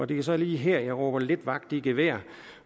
det er så lige her jeg råber lidt vagt i gevær